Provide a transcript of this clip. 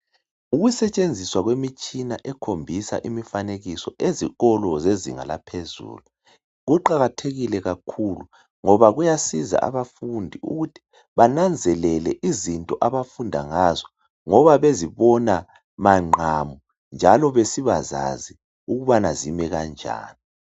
Ukusetshenziswa kwemitshina ezikolo zezinga laphezulu kuqakathekile kakhulu ngoba kuyabasiza abafundi ukuthi bananzelele izinto abafunda ngazo ngoba bezibona mangqamu njalo besibazazi ukubana zimi kanjani.